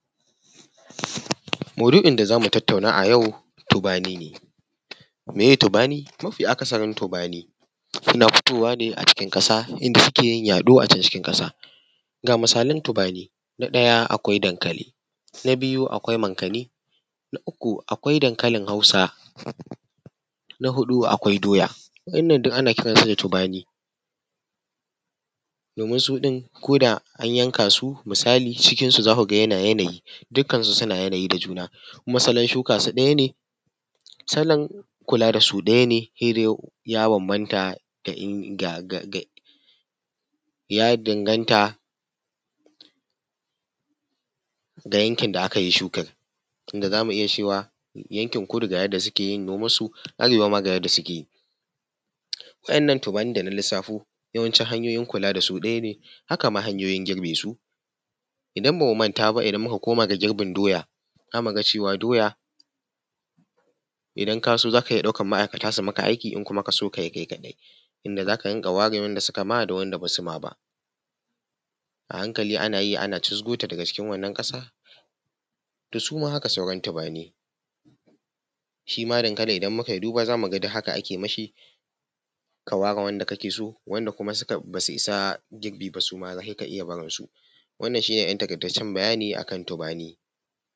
Maudu'in da za mu tatauna a yau tubani ne. Miye tubani? Mafi akasari tubani suna fitowa ne a cikin ƙasa inda suke yin yaɗo a can cikin ƙasa. Ga misalan tubani na ɗaya akwai dankali, na biyu akwai mankani, na uku akwai dankalin hausa, na huɗu akwai doya. Wa'inan duk ana kiran su da tubani domin su ɗin koda an yanka su, misali cikinsu za ku ga yana yanayi. Dukan su suna yanayin da juna kuma salon shuka su ɗaya ne, salon kula da su ɗaya ne. Sai dai ya danganta ga yankin da akai shukan. Idan za mu iya cewa yanki kudu ga yanda suke noman su, arewa ga yanda suke yi. Wa'innan tubanin da na lissafo yawancin hanyoyin kula da su ɗaya ne. Haka ma hanyoyin girbe su. Idan ba mu manta ba idan muka koma ga girbin doya, zamu ga cewa doya idan ka so zaka iya ɗaukan ma'aikata su yi ma aiki, in kuma ka so ka yi kai kaɗai. Inda za ka dinga ware wanda su kai ma da wanda ba su ma ba, a hankali ana yi ana cizgo ta daga cikin wannan ƙasa, to su ma haka sauran tubani. Shi ma dankali idan mu kai duba duk haka ake ma shi ka ware wanda kake so, wanda kuma ba su isa girbi ba suma sai ka iya barin su wannan shi ne ɗan taƙaitaccan bayani akan tubani.